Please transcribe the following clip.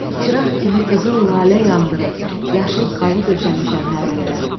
Çıraq kimi qızıl lalə yandırıb, yaşıl xalı döşəmişəm hər yerə.